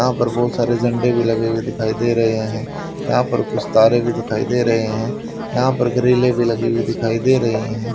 यहां पर बहुत सारे झंडे भी लगे हुए दिखाई दे रहे हैं यहां पर कुछ तारें भी दिखाई दे रहे हैं यहां पर ग्रिलें भी लगी हुई दिखाई दे रही हैं।